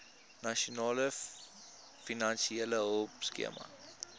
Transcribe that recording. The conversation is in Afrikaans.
nasionale finansiële hulpskema